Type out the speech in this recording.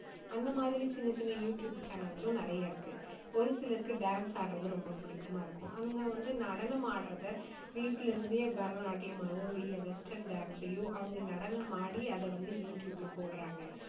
அந்த மாதிரி சின்ன சின்ன யூ டியூப் channels ம் நிறைய இருக்கு. ஒரு சிலருக்கு dance ஆடுறது ரொம்ப பிடிக்குமா இருக்கும். அவங்க வந்து நடனமாடுறதை வீட்டிலிருந்தே பரதநாட்டியமாவோ இல்ல western dance ஐயோ அவங்க நடனமாடி அதை வந்து யூ டியூப்ல போடுறாங்க.